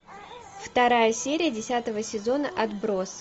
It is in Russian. вторая серия десятого сезона отбросы